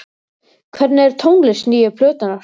Hvernig er tónlist nýju plötunnar?